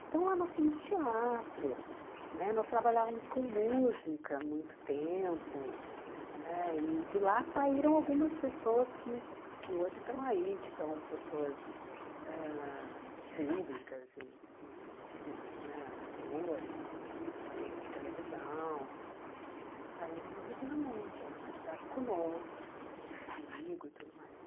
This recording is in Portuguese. Então lá nós tínhamos teatro né, nós trabalhávamos com música há muito tempo né, e de lá saíram algumas pessoas que que hoje estão aí, que são pessoas ãh públicas e e tudo mais né, atores, apresentadores de televisão né, saíram do Regina Mundi né, estudaram conosco e tudo né, comigo e tudo mais.